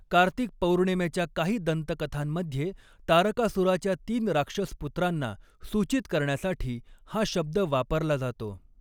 कार्तिक पौर्णिमेच्या काही दंतकथांमध्ये तारकासुराच्या तीन राक्षस पुत्रांना सूचित करण्यासाठी हा शब्द वापरला जातो.